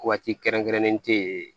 Waati kɛrɛnkɛrɛnnen tɛ yen